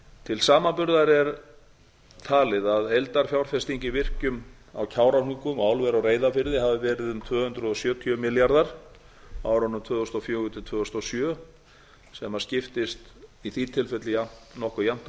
til samanburðar er talið að heildarfjárfesting í virkjun á kárahnjúkum og álveri á reyðarfirði hafi verið um tvö hundruð sjötíu milljarðar á árunum tvö þúsund og fjögur til tvö þúsund og sjö sem skiptist í því tilfelli nokkuð jafnt á